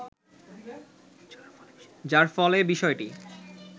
যার ফলে বিষয়টি